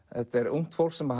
ungt fólk sem